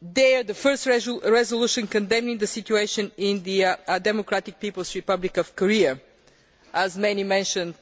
the first resolution condemning the situation in the Democratic People's Republic of Korea, which as many have already mentioned